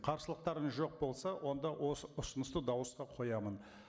қарсылықтарыңыз жоқ болса онда осы ұсынысты дауысқа қоямын